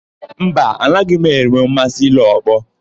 Mba, anaghị m enwe mmasị ile ọkpọ.